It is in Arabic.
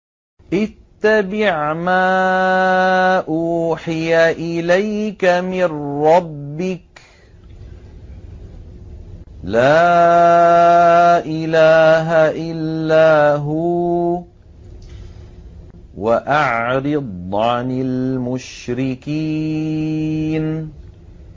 اتَّبِعْ مَا أُوحِيَ إِلَيْكَ مِن رَّبِّكَ ۖ لَا إِلَٰهَ إِلَّا هُوَ ۖ وَأَعْرِضْ عَنِ الْمُشْرِكِينَ